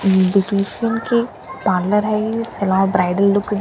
parlour है ये सलौ ब्राइडल लुक --